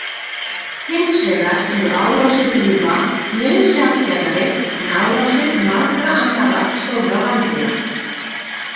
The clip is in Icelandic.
Hins vegar eru árásir úlfa mun sjaldgæfari en árásir margra annarra stórra rándýra.